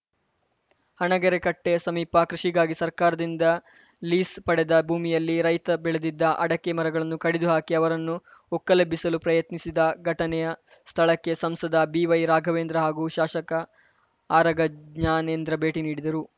ಹಣಗೆರೆ ಕಟ್ಟೆಸಮೀಪ ಕೃಷಿಗಾಗಿ ಸರ್ಕಾರದಿಂದ ಲೀಸ್‌ ಪಡೆದ ಭೂಮಿಯಲ್ಲಿ ರೈತ ಬೆಳೆದಿದ್ದ ಅಡಕೆ ಮರಗಳನ್ನು ಕಡಿದು ಹಾಕಿ ಅವರನ್ನು ಒಕ್ಕಲೆಬ್ಬಿಸಲು ಯತ್ನಿಸಿದ ಘಟನೆಯ ಸ್ಥಳಕ್ಕೆ ಸಂಸದ ಬಿವೈರಾಘವೇಂದ್ರ ಹಾಗೂ ಶಾಸಕ ಆರಗ ಜ್ಞಾನೇಂದ್ರ ಭೇಟಿ ನೀಡಿದರು